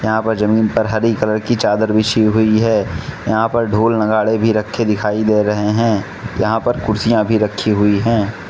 यहां पर जमीन पर हरी कलर की चादर बिछी हुई हैं यहां पर ढोल नगाड़े भी रखे दिखाई दे रहे हैं यहां पर कुर्सियां भी रखी हुई हैं।